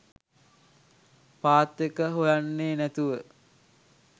පාත් එක හොයන්නේ නැතුව